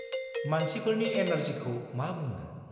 मानसिफोरनि एनार्जिखौ मा बुंनो!